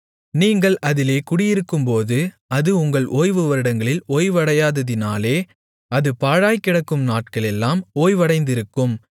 நீங்கள் அதிலே குடியிருக்கும்போது அது உங்கள் ஓய்வு வருடங்களில் ஓய்வடையாததினாலே அது பாழாய்க்கிடக்கும் நாட்களெல்லாம் ஓய்வடைந்திருக்கும்